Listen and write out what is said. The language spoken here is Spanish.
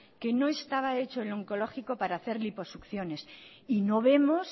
que no estaba hecho el oncológico para hacer liposucciones y no vemos